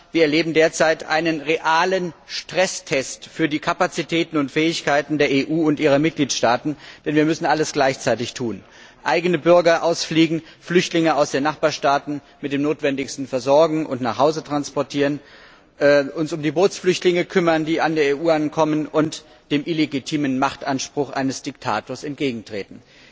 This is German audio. Aber wir erleben derzeit einen realen Stresstest für die Kapazitäten und Fähigkeiten der EU und ihrer Mitgliedstaaten, denn wir müssen alles gleichzeitig tun Eigene Bürger ausfliegen, Flüchtlinge aus den Nachbarstaaten mit dem Notwendigsten versorgen und nach Hause transportieren, uns um die in der EU ankommenden Bootsflüchtlinge kümmern und dem illegitimen Machtanspruch eines Diktators entgegentreten.